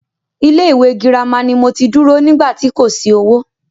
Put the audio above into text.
Ilé ìwé girama ni mo ti dúró nígbà tí kò sí owó.